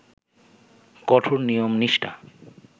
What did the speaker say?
কঠোর নিয়ম-নিষ্ঠা